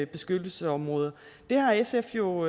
beskyttelsesområder det har sf jo